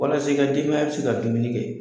Walasa e ke denbaya be se ka dumuni kɛ